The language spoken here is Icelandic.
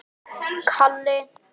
spurði frænka mín þá.